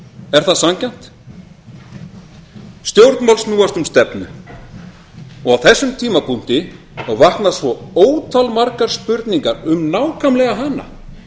er það sanngjarnt stjórnmál snúast um stefnu á þessum tímapunkti vakna svo ótalmargar spurningar um nákvæmlega hana